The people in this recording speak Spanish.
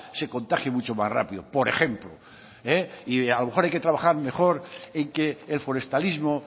se contagie mucho más rápido por ejemplo y a lo mejor hay que trabajar mejor en que el forestalismo